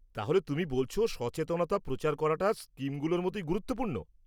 তাহলে তুমি বলছ সচেতনতা প্রচার করাটা স্কিমগুলোর মতই গুরুত্বপূর্ণ।